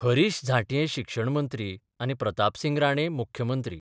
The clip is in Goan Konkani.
हरिष झांट्ये शिक्षणमंत्री आनी प्रतापसिंग राणे मुख्यमंत्री.